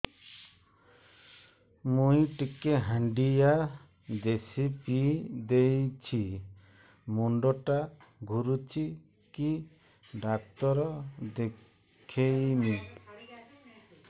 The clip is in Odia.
ମୁଇ ଟିକେ ହାଣ୍ଡିଆ ବେଶି ପିଇ ଦେଇଛି ମୁଣ୍ଡ ଟା ଘୁରୁଚି କି ଡାକ୍ତର ଦେଖେଇମି